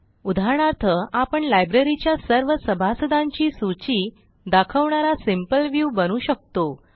उदाहरणार्थ आपण लायब्ररीच्या सर्व सभासदांची सूची दाखवणारा सिंपल व्ह्यू बनवू शकतो